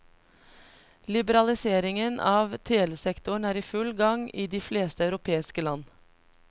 Liberaliseringen av telesektoren er i full gang i de fleste europeiske land.